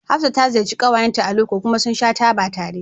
Hafsat ta ziyarci ƙawayenta a loko kuma sun sha taba tare